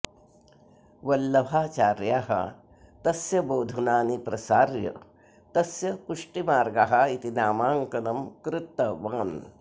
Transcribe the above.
वल्लभाचार्यः तस्य बोधनानि प्रसार्य तस्य पुष्टिमार्गः इति नामाङ्कनं कृतवान्